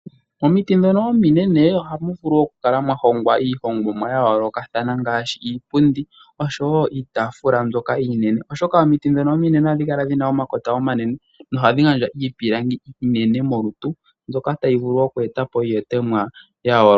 Omiti ndhono ominene ohamu vulu okukala mwa hongwa iihongomwa ya yookoka, ngaashi iipundi niitaafula mbyoka iinene, oshoka omiti ndhono ominene ohadhi kala dhi na omakota omanene nohadhi gandja iipilangi iinene molutu mbyoka tayi vulu okweeta po iilongomwa ya yooloka